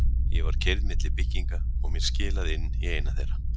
Ég var keyrð milli bygginga og mér skilað inn í eina þeirra.